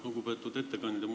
Lugupeetud ettekandja!